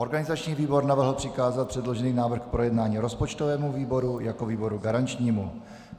Organizační výbor navrhl přikázat předložený návrh k projednání rozpočtovému výboru jako výboru garančnímu.